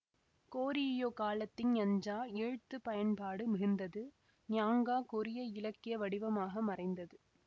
Goryeo காலத்தில் அஞ்சா எழ்த்துப் பயன்பாடு மிகுந்தது யாங்கா கொரிய இலக்கிய வடிவமாக மறைந்தது